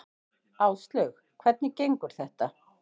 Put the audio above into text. Áslaug: Hvernig gengur þetta?